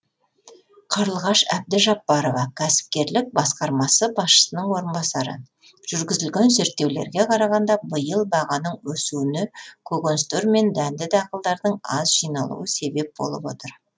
қарлығаш әбдіжаппарова кәсіпкерлік басқармасы басшысының орынбасары жүргізілген зерттеулерге қарағанда биыл бағаның өсуіне көкөністер мен дәнді дақылдардың аз жиналуы себеп болып отыр